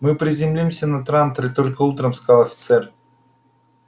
мы приземлимся на транторе только утром сказал офицер